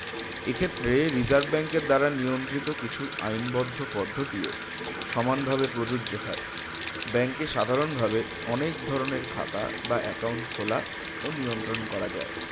এক্ষেত্রে reserve bank এর দ্বারা নিয়ন্ত্রিত কিছু আইনবদ্ধ পদ্ধতিও সমানভাবে প্রজোজ্য হয় bank এ সাধারণভাবে অনেক ধরনের খাতা বা account খোলা ও নিয়ন্ত্রণ করা যায়